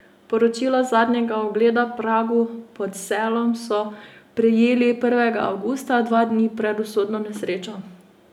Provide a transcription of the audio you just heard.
Poročilo zadnjega ogleda pragu pod Selom so prejeli prvega avgusta, dva dni pred usodno nesrečo.